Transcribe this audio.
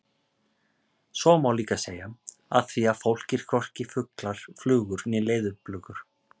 Svo má líka segja: Af því að fólk er hvorki fuglar, flugur né leðurblökur.